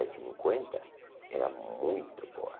cinquenta, era muito boa.